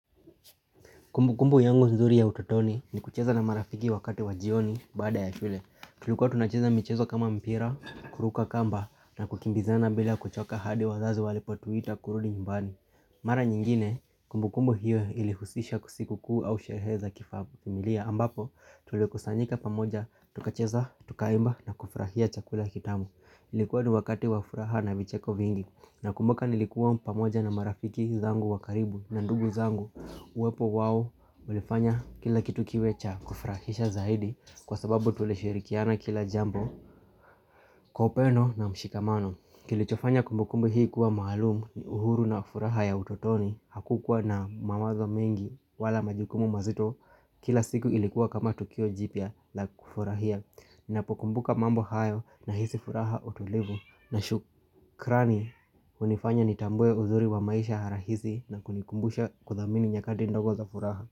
Kumbukumbu yangu nzuri ya utotoni ni kucheza na marafiki wakati wa jioni baada ya shule. Tulikuwa tunacheza michezo kama mpira, kuruka kamba na kukimbizana bila kuchoka hadi wazazi walipotuita kurudi nyumbani. Mara nyingine, kumbukumbu hiyo ilihusisha sikukuu au sherehe za kifamilia ambapo tulikusanyika pamoja tukacheza, tukaimba na kufurahia chakula kitamu. Ilikuwa ni wakati wa furaha na vicheko vingi. Nakumbuka nilikuwa pamoja na marafiki zangu wa karibu na ndugu zangu. Uwepo wao ulifanya kila kitu kiwe cha kufurahisha zaidi kwa sababu tulishirikiana kila jambo kwa upendo na mshikamano. Kilichofanya kumbukumbu hii kuwa maalumu ni uhuru na ufuraha ya utotoni. Hakukuwa na mawazo mengi wala majukumu mazito kila siku ilikuwa kama tukio jipya la kufurahia. Ninapokumbuka mambo hayo nahisi furaha, utulivu na shukrani hunifanya nitambue uzuri wa maisha rahisi na kunikumbusha kuthamini nyakati ndogo za furaha.